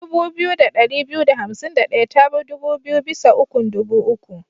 Dubu biyu da ɗari biyu da hansim da ɗaya tabi biyu bisa ukun dubu uku.